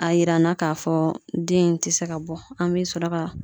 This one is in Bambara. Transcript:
A yira n na k'a fɔ den in te se ka bɔ an be sɔrɔ ka